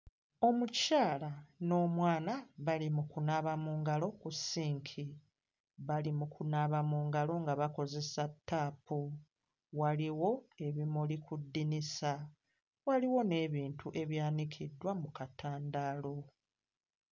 Omukyala n'omwana bali mu kunaaba mu ngalo ku ssinki. Bali mu kunaaba mu ngalo nga bakozesa ttaapu. Waliwo ebimuli ku ddinisa, waliwo n'ebintu ebyanikiddwa mu katandaalo.